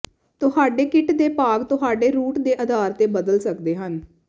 ਤੁਹਾਡੇ ਕਿੱਟ ਦੇ ਭਾਗ ਤੁਹਾਡੇ ਰੂਟ ਦੇ ਅਧਾਰ ਤੇ ਬਦਲ ਸਕਦੇ ਹਨ